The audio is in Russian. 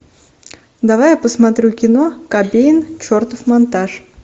давай я посмотрю кино кобейн чертов монтаж